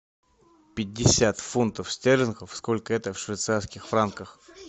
пятьдесят фунтов стерлингов сколько это в швейцарских франках